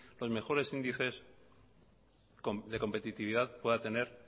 los mejores índices de competitividad pueda tener